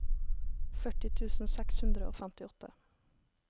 førti tusen seks hundre og femtiåtte